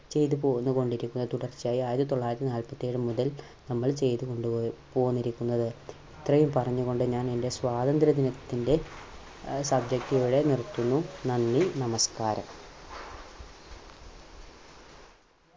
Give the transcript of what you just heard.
ചെയ്തുപോന്നുകൊണ്ടിരിക്കുന്നത്. തുടർച്ചയായി ആയിരത്തിത്തൊള്ളായിരത്തി നാല്പത്തിയേഴ് മുതൽ നമ്മൾ ചെയ്തുകൊണ്ട് പോന്നിരിക്കുന്നത്. ഇത്രയും പറഞ്ഞു കൊണ്ട് ഞാൻ എന്റെ സ്വാതന്ത്ര്യ ദിനത്തിന്റെ ആ subject ഇവിടെ നിർത്തുന്നു. നന്ദി നമസ്കാരം.